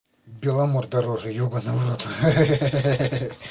беломор дороже ебанный в рот ха-ха